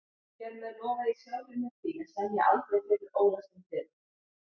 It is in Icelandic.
Hér með lofa ég sjálfri mér því að semja aldrei fyrir ólæstum dyrum